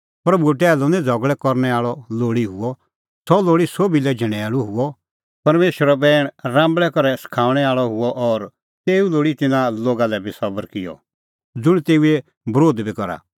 प्रभूओ टैहलू निं झ़गल़ै करनै आल़अ लोल़ी हुअ सह लोल़ी सोभी लै झणैल़ू हुअ परमेशरो बैण राम्बल़ै करै सखाऊंणै आल़अ हुअ और तेऊ लोल़ी तिन्नां लोगा लै बी सबर किअ ज़ुंण तेऊओ बरोध बी करा